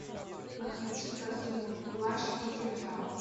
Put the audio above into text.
подключи картину плащ и кинжал